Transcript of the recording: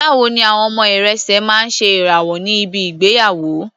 Báwo ni àwọn ọmọ irẹ̀sẹ̀ máa ń ṣe ìrànwọ́ ní bi ìgbéyàwó?